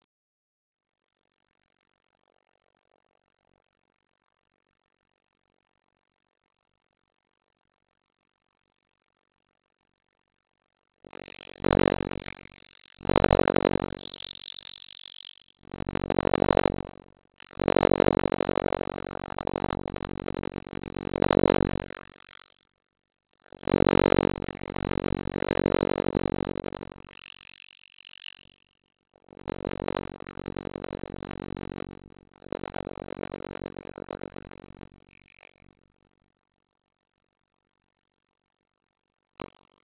Til þess notaði hann leifturljós úr myndavél.